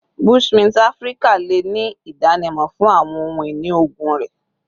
Bushmint Afirika le ni idanimọ fun awọn ohun-ini oogun rẹ